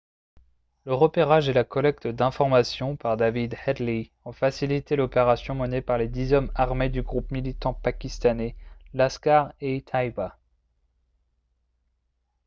le repérage et la collecte d'informations par david headley ont facilité l'opération menée par les dix hommes armés du groupe militant pakistanais laskhar-e-taiba